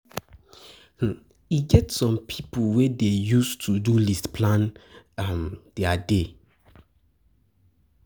um E um get some pipo wey dey use to-do list plan their um day.